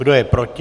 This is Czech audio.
Kdo je proti?